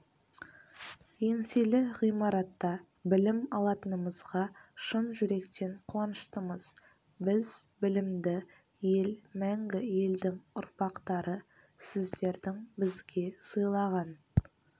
еңселі ғимаратта білім алатынымызға шын жүректен қуаныштымыз біз білімді ел мәңгі елдің ұрпақтары сіздердің бізге сыйлаған